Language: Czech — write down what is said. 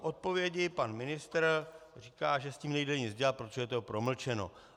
V odpovědi pan ministr říká, že s tím nejde nic dělat, protože je to promlčeno.